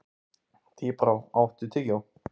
Tíbrá, áttu tyggjó?